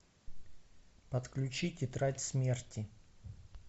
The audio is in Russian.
подключи тетрадь смерти